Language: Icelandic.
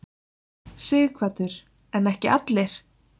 Sighvatur: En ekki allir?